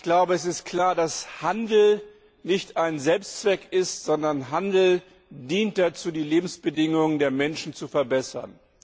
Ich glaube, es ist klar, dass Handel nicht Selbstzweck ist, sondern dazu dient, die Lebensbedingungen der Menschen zu verbessern.